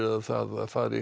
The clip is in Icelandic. það fari